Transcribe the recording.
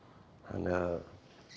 þannig að